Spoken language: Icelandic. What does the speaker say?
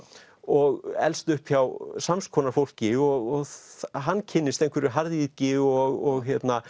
og elst upp hjá sams konar fólki og hann kynnist einhverju harðýðgi og